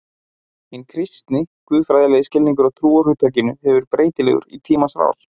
Hinn kristni, guðfræðilegi skilningur á trúarhugtakinu hefur verið breytilegur í tímans rás.